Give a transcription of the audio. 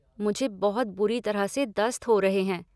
मुझे बहुत बुरी तरह से दस्त हो रहे हैं।